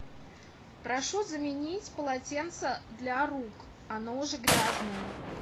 прошу заменить полотенце для рук оно уже грязное